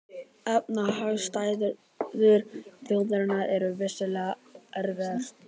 Efnahagsaðstæður þjóðarinnar eru vissulega erfiðar